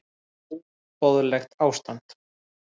Þetta er óboðlegt ástand.